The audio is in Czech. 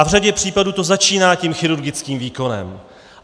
A v řadě případů to začíná tím chirurgickým výkonem.